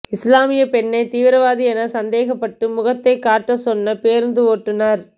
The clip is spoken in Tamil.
இஸ்லாமியப் பெண்ணை தீவிரவாதி என சந்தேகப்பட்டு முகத்தை காட்டச் சொன்ன பேருந்து ஓட்டுனர்